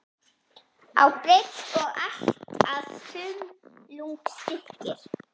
á breidd og allt að þumlungsþykkir.